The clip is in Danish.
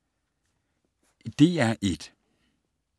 DR1